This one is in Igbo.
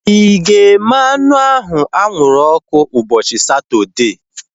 Ịga eme anụ ahu anwụrụ ọkụ ụbọchị Satọdee?